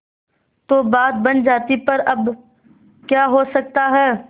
तो बात बन जाती पर अब क्या हो सकता है